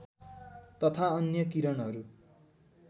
तथा अन्य किरणहरू